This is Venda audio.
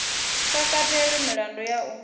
sa katelwi milandu ya u